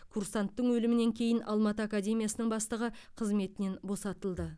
курсанттың өлімінен кейін алматы академиясының бастығы қызметінен босатылды